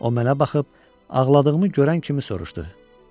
O mənə baxıb, ağladığımı görən kimi soruşdu.